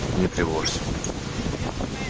не тревожься